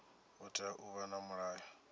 hu tea u vha na mulayo